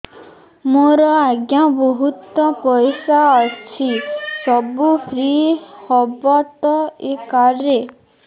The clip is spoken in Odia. ମୋର ଆଜ୍ଞା ବହୁତ ପଇସା ଅଛି ସବୁ ଫ୍ରି ହବ ତ ଏ କାର୍ଡ ରେ